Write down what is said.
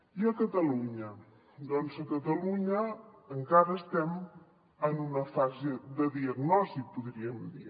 i a catalunya doncs a catalunya encara estem en una fase de diagnosi podríem dir